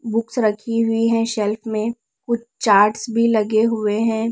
Books रखी हुई है शेल्फ में कुछ चार्ट्स भी लगे हुए हैं।